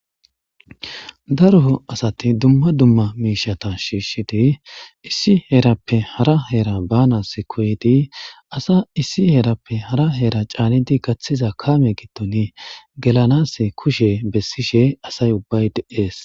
Haruho asati dumma dumma miishata shiishshidi issi heerappe hara heera baanas koydi asa issi heerappe hara heera caanidi gaththiza kaame gitton gelanas kushe bessishe asay ubbay de'ees.